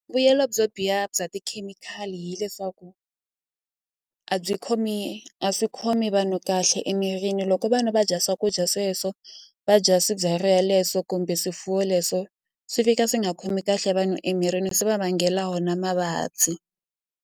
Vuyelo byo biha bya tikhemikhali hileswaku a byi khomi a swi khomi vanhu kahle emirini loko vanhu va dya swakudya sweswo va dya leswo kumbe swifuwo leswo swi fika swi nga khomi kahle vanhu emirini swi va vangela wona mavabyi.